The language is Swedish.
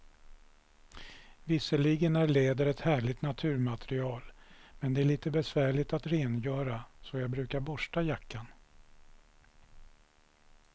Visserligen är läder ett härligt naturmaterial, men det är lite besvärligt att rengöra, så jag brukar borsta jackan.